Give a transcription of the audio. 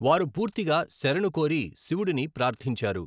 వారు పూర్తిగా శరణుకోరి శివుడిని ప్రార్థించారు.